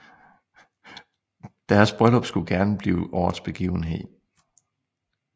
Deres bryllup skulle gerne blive årets begivenhed